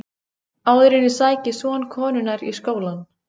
Áður en ég sæki son konunnar í skólann.